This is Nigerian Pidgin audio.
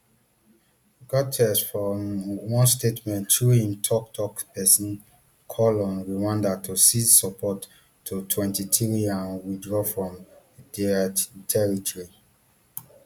guterres for um one statement through im tok tok pesin call on rwanda to cease support to mtwenty-three and withdraw from drc territory